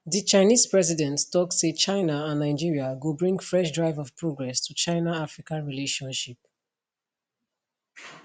di chinese president tok say china and nigeria go bring fresh drive of progress to chinaafrica relationship